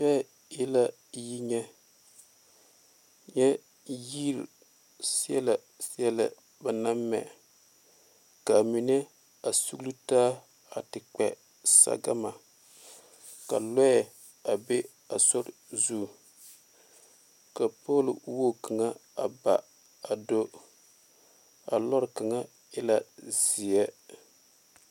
kyɛ e la yi nyɛ nyɛ yi sellɛsellɛ ba naŋ mɛ kaa mine sulitaa te kpɛ sagama ka lɔɛ be a sorɛ zu ka pɔloŋ kaŋa baa a do a lɔɔre kaŋa e la seɛ.